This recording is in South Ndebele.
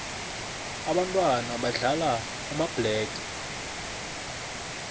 ababntwana badlala amabhlege